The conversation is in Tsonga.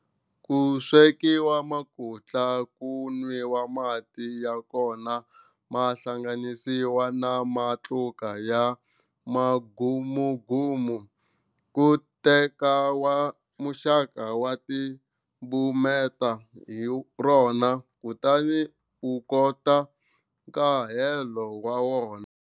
Ku swekiwa makutla ku nwiwa mati ya kona ma hlanganisiwile na matluka ya mugamugamu. Ku tekiwa muxaka wa timbumeta hi rona kutani u koka nkahelo wa wona.